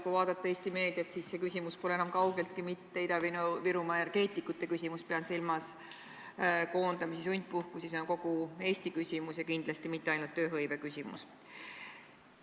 Kui vaadata Eesti meediat, siis on näha, et see küsimus pole enam kaugeltki mitte Ida-Virumaa energeetikute küsimus – ma pean silmas koondamisi ja sundpuhkusi –, see on kogu Eesti küsimus ja kindlasti mitte ainult tööhõiveküsimus.